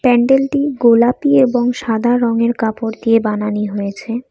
প্যান্ডেলটি গোলাপি এবং সাদা রংয়ের কাপড় দিয়ে বানানি হয়েছে।